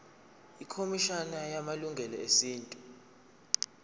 ikhomishana yamalungelo esintu